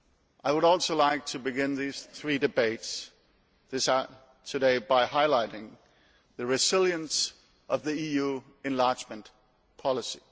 I would also like to begin these three debates today by highlighting the resilience of the EU enlargement policy.